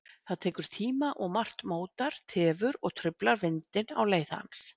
Það tekur tíma og margt mótar, tefur og truflar vindinn á leið hans.